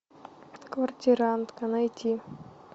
квартирантка найти